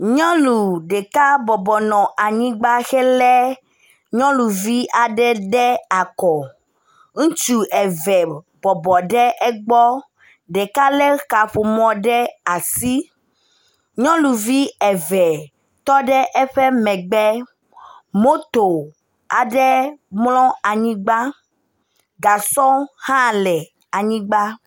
nyɔnu ɖeka bɔbɔ nɔ anyigbã hele nyɔnuvi aɖe ɖe akɔ ŋutsu eve bɔbɔ ɖe ɛgbɔ ɖeka le kaƒomɔ ɖe asi nyɔnuvi eve tɔɖe eƒe megbe moto aɖe mlɔ anyigbã gasɔ aɖe hã mlɔ anyigbã